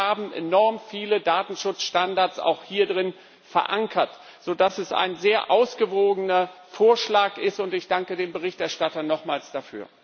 Und wir haben enorm viele Datenschutzstandards auch hierin verankert, sodass es ein sehr ausgewogener Vorschlag ist, und ich danke dem Berichterstatter nochmals dafür.